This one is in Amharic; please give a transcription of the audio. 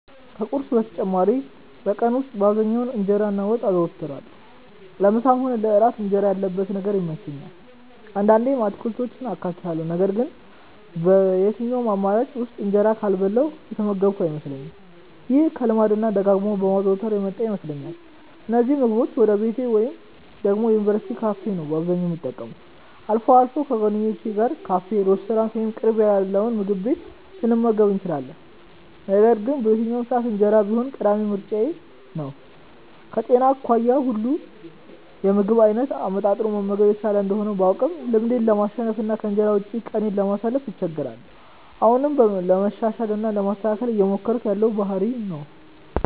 ከቁርስ በተጨማሪ በቀን ውስጥ በአብዛኛው እንጀራ እና ወጥ አዘወትራለሁ። ለምሳም ሆነ ለእራት እንጀራ ያለበት ነገር ይመቸኛል። አንዳንዴም አትክልቶችን አካትታለሁ ነገር ግን በየትኛውም አማራጭ ውስጥ እንጀራ ካልበላሁ የተመገብኩ አይመስለኝም። ይሄ ከልማድ እና ደጋግሞ ከማዘውተር የመጣ ይመስለኛል። እነዚህን ምግቦች ወይ ቤቴ ወይ ደግሞ የዩኒቨርስቲ ካፌ ነው አብዛኛውን የምጠቀመው። አልፎ አልፎ ከጓደኞቼ ጋር ካፌ፣ ሬስቶራንት ወይም በቅርብ ያገኘነውምግብ ቤት ልንመገብ እንችላለን። ነገር ግን በየትኛውም ሰዓት እንጀራ ቢኖር ቀዳሚ ምርጫዬ ነው። ከጤና አኳያ ሁሉንም የምግብ አይነት አመጣጥኖ መመገብ የተሻለ እንደሆነ ባውቅም ልማዴን ለማሸነፍ እና ከእንጀራ ውጪ ቀኔን ለማሳለፍ እቸገራለሁ። አሁንም ለማሻሻል እና ለማስተካከል እየሞከርኩት ያለው ባህሪዬ ነው።